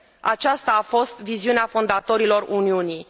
Aceasta a fost viziunea fondatorilor Uniunii.